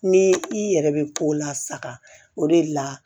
Ni i yɛrɛ bɛ ko lasaga o de la